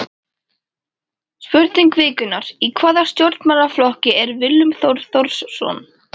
Spurning vikunnar: Í hvaða stjórnmálaflokki er Willum Þór Þórsson?